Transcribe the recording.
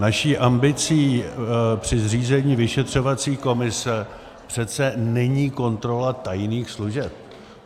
Naší ambicí při zřízení vyšetřovací komise přece není kontrola tajných služeb.